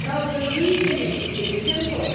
The reasoning is simple.